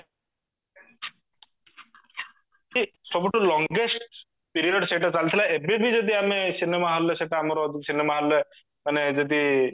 ସବୁଠୁ longest period ସେଇଟା ଚାଲିଥିଲା ଏବେ ବି ଯଦି ଆମେ cinema hallରେ ସେଟା ଆମର cinema hallରେ ମାନେ ଯଦି